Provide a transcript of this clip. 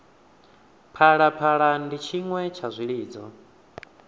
phalaphala ndi tshiṅwe tsha zwilidzo